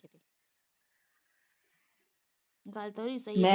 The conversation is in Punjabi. ਗੱਲ ਤਾਂ ਉਹਦੀ ਵੀ ਸਹੀ ਏ।